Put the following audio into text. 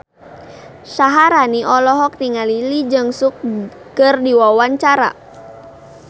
Syaharani olohok ningali Lee Jeong Suk keur diwawancara